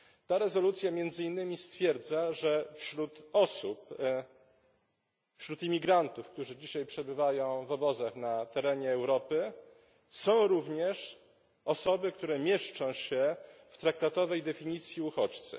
Ta rezolucja między innymi stwierdza, że wśród osób, wśród imigrantów, którzy dzisiaj przebywają w obozach na terenie Europy, są również osoby, które mieszczą się w traktatowej definicji uchodźcy.